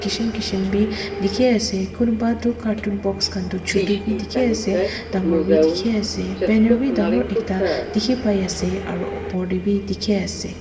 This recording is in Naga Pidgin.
kishim kishim bhi dekhi ase kunba tu cartoon box khan tu chotu bhi dekhi ase dagor bhi dekhi ase banner bhi dagor ekta dekhi pai ase aru opor te bhi dekhi ase.